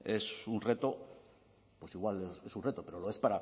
es un reto igual es un reto pero lo es